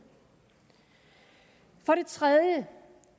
for det tredje